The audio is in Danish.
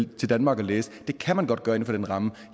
til danmark og læse kan man godt gøre inden for den ramme